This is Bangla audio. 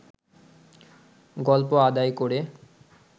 গল্প আদায় করে